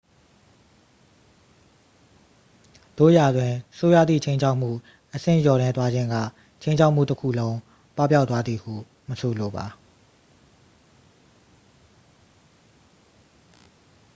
သို့ရာတွင် ဆိုးရွားသည့် ခြိမ်းခြောက်မှု အဆင့်လျော့နည်းသွားခြင်းက ခြိမ်းခြောက်မှုတစ်ခုလုံး ပပျောက်သွားသည်ဟု မဆိုလိုပါ